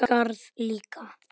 Garð líka.